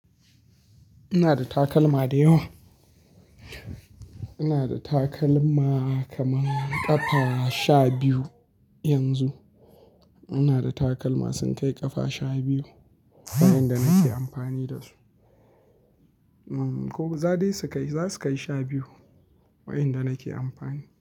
Ina da takalma da yawa. Ina da takalma kaman ƙafa sha biyu yanzu. Ina da takalma sun kai ƙafa sha biyu waɗanda nake amfani dasu. Ko za dai su kai, za su kai sha biyu waɗanda nake amfani.